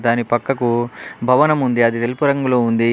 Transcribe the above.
దాని పక్కకు భవనం ఉంది అది తెలుపు రంగులో ఉంది --